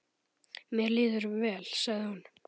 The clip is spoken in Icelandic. Mér líður vel, sagði hún.